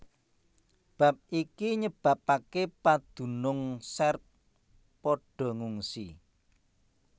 Bab iki nyebabaké padunung Serb padha ngungsi